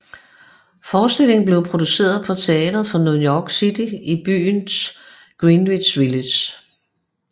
Forestillingen blev produceret på Theater for the New City i byens Greenwich Village